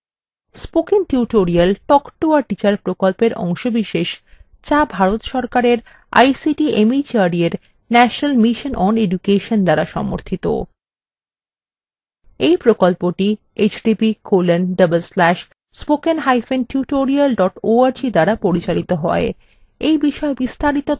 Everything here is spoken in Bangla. spoken tutorial talk to a teacher প্রকল্পের অংশবিশেষ যা ভারত সরকারের ict mhrd এর national mission on education দ্বারা সমর্থিত এই প্রকল্পটি